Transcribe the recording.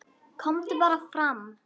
KOMDU BARA FRAM